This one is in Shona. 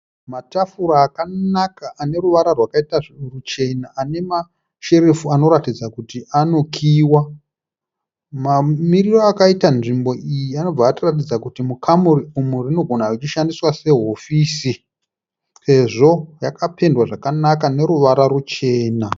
Matafura akanaka aneruvara rwakaita ruchena anemasherefu anoratidza kuti anokiiwa. Mamiriro akaita nzvimbo iyi anobva atiratidza kuti mukamuri umu rinogona kunge richishandiswa sehofisi sezvo rakapendwa zvakanaka neruvara ruchena